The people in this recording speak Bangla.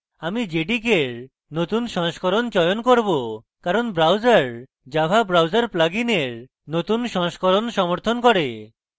আমি jdk এর নতুন সংস্করণ চয়ন করব কারণ browser java browser প্লাগিনের নতুন সংস্করণ সমর্থন করে